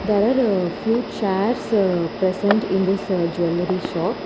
There are few chairs present in this jewellery shop.